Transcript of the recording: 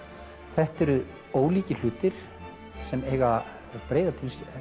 þetta eru ólíkir hlutir sem eiga breiða